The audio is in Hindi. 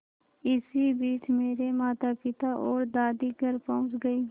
इसी बीच मेरे मातापिता और दादी घर पहुँच गए